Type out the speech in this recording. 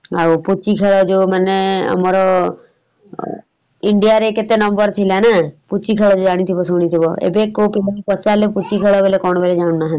ଆଉ ପୁଚି ଖେଳ ଯଉ ମାନେ ଆମର India ରେ କେତେ number ଥିଲାନା ପୁଚି ଖେଳ ଯଉ ଜାଣିଥିବ ଶୁଣିଥିବ ଏବେ କଉଠି ପଚାରିଲେ ପୁଚି ଖେଳ ବୋଲେ କଣ କେହି ଜାଣୁନାହାନ୍ତି ।